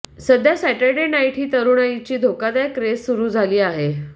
सध्या Saturday night ही तरुणाईची धोकादायक क्रेझ सुरू झाली आहे